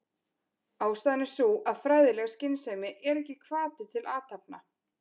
Ástæðan er sú að fræðileg skynsemi er ekki hvati til athafna.